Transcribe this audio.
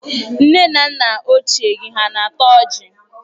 Nne na nna ochié gi ha na-ata ọjị?